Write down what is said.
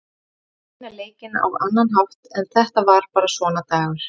Hann reyndi að vinna leikinn á annan hátt en þetta var bara svona dagur.